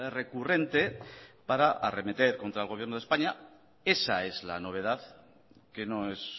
recurrente para arremeter contra el gobierno de españa esa es la novedad que no es